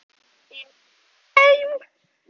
Ég er kominn heim!